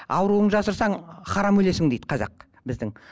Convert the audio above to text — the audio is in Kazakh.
ауруыңды жасырсаң харам өлесің дейді қазақ біздің